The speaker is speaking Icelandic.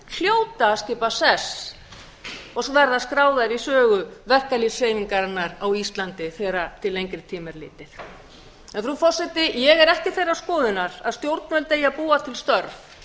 hljóta að skipa sess og verða skráðar í sögu verkalýðshreyfingarinnar á íslandi þegar til lengri tíma er litið frú forseti ég er ekki þeirrar skoðunar að stjórnvöld eigi að búa til störf